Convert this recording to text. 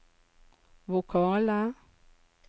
vokale